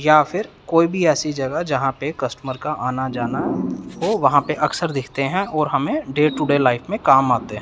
या फिर कोई भी ऐसी जगह जहां पे कस्टमर का आना जाना हो वहां पे अक्सर दिखते हैं और हमें डे टुडे लाइफ में काम आते हैं।